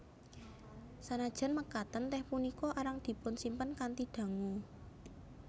Sanajan mekaten tèh punika arang dipunsimpen kanthi dangu